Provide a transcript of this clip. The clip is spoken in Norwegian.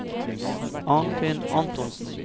Arnfinn Antonsen